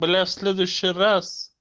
бля следующий раз